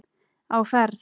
Á ferð